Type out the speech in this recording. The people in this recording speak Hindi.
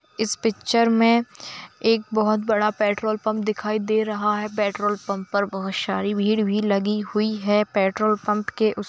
इस पिक्चर में एक बहुत बड़ा पेट्रोल पंप दिखाई दे रहा है पेट्रोल पंप में बहुत सारी भीड़ भी लगी हुई है पेट्रोल पंप के उस --